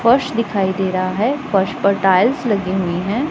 फर्श दिखाई दे रहा है फर्श पर टाइल्स लगी हुई है।